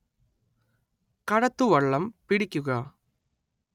കടത്തുവള്ളം പിടിക്കുക